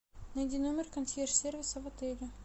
найди номер консьерж сервиса в отеле